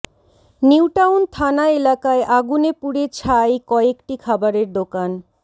নিউটাউন থানা এলাকায় আগুনে পুড়ে ছাই কয়েকটি খাবারের দোকান